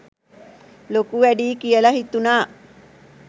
ලොකු වැඩියි කියලා හිතුනා.